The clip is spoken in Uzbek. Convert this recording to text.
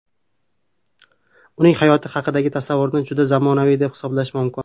Uning hayot haqidagi tasavvurini juda zamonaviy deb hisoblash mumkin.